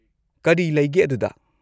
ꯀꯔꯤ ꯂꯩꯒꯦ ꯑꯗꯨꯗ?